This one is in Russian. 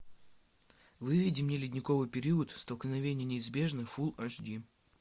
выведи мне ледниковый период столкновение неизбежно фулл аш ди